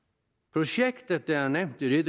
projektet der er nævnt i